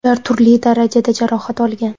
Ular turli darajada jarohat olgan.